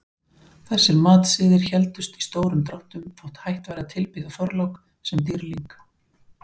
Þessir matsiðir héldust í stórum dráttum þótt hætt væri að tilbiðja Þorlák sem dýrling.